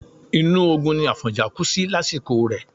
Inú ogun ni Àfọ̀njá kú sí lásìkò rẹ̀.